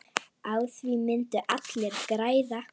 Á því myndu allir græða.